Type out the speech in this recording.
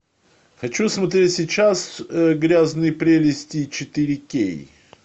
хочу смотреть сейчас грязные прелести четыре кей